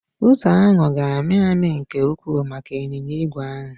Ụzọ ahụ ga-amị amị nke ukwuu maka ịnyịnya ígwè ahụ